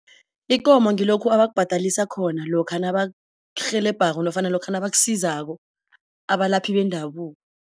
Ikomo ngilokhu abakubhadalisa khona lokha nabakurhelebhako nofana lokha nabakusizako abalaphi bendabuko.